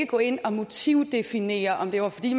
gå ind og motivdefinere om det var fordi